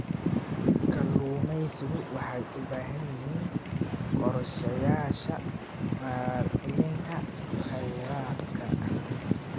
Kalluumaysigu waxay u baahan yihiin qorshayaasha maaraynta khayraadka.